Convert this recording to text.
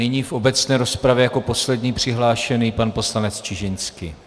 Nyní v obecné rozpravě jako poslední přihlášený pan poslanec Čižinský.